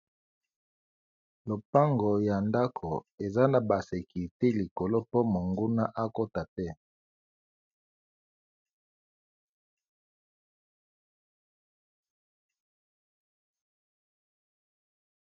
Lopango ya ndako eza na ba sekirite likolo po monguna akota te.